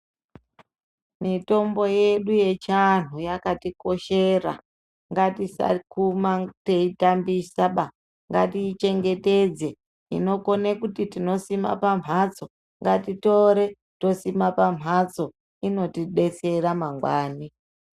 Mitombo yedu yechiantu yakatikoshera Ngati tisakuma teitambisa ba Ngati chengetedze inokona kuti tinosima pambatso ngatitore tosima pambatso inotidetsera mangwani.